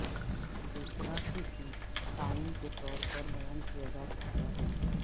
دوسرا قسم تعاون کے طور پر بیان کیا جا سکتا ہے